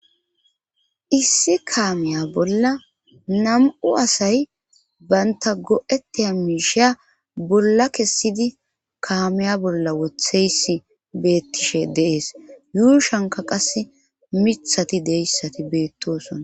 issi kaamiya bolla nam7u asay banta go7eti ha miishiya bolla kessidi kaamiya bolla wotheysi beettishe deees yuushanka qase mithati deyssati beettoosona